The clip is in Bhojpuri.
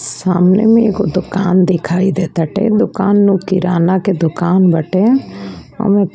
सामने एक दुकान दिखाई देता ते दुकान मे किराना की दुकान बाटे और--